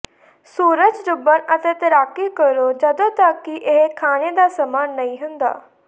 ਸੂਰਜ ਡੁੱਬਣ ਅਤੇ ਤੈਰਾਕੀ ਕਰੋ ਜਦੋਂ ਤੱਕ ਕਿ ਇਹ ਖਾਣੇ ਦਾ ਸਮਾਂ ਨਹੀਂ ਹੁੰਦਾ